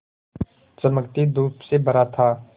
चमकती धूप से भरा था